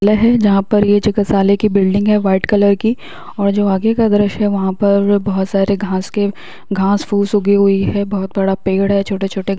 ले है जहाँ पर ये चिकित्सालय की बिल्डिंग है वाइट कलर की और जो आगे का दृश्य है वहाँ पर बोहत सारे घास के घास के घास फूस उगी हुई है बोहत बड़ा पेड़ है छोटे छोटे--